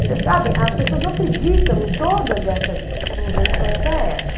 Você sabe, as pessoas não acreditam em todas essas injunções da época.